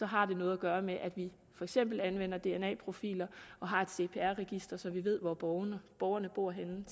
har noget at gøre med at vi for eksempel anvender dna profiler og har et cpr register så vi ved hvor borgerne borgerne bor henne